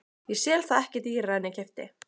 Ég sel það ekki dýrara en ég keypti.